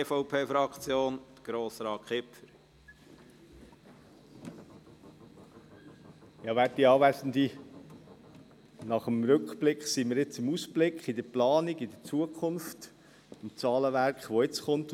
Nach dem Rückblick sind wir jetzt beim Ausblick, bei der Planung, der Zukunft, beim Zahlenwerk, das jetzt kommt.